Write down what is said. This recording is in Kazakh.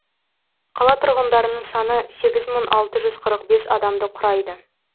қала тұрғындарының саны сегіз мың алты жүз қырық бес адамды құрайды